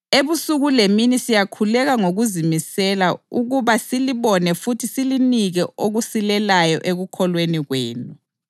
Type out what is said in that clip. Ebusuku lemini siyakhuleka ngokuzimisela ukuba silibone futhi silinike okusilelayo ekukholweni kwenu.